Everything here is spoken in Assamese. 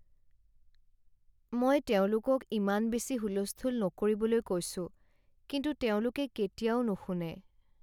মই তেওঁলোকক ইমান বেছি হুলস্থূল নকৰিবলৈ কৈছো, কিন্তু তেওঁলোকে কেতিয়াও নুশুনে।